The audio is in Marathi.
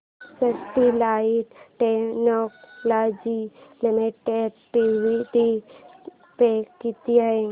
Sterlite Technologies Limited dividend pay किती आहे